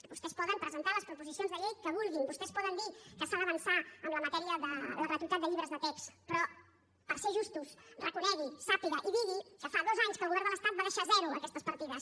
vostès poden presentar les proposicions de llei que vulguin vostès poden dir que s’ha d’avançar en la matèria de la gratuïtat de llibres de text però per ser justos reconegui sàpiga i digui que fa dos anys que el govern de l’estat va deixar a zero aquestes partides